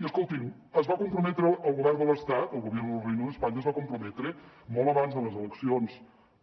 i escoltin el govern de l’estat el gobierno del reino de españa es va comprometre molt abans de les eleccions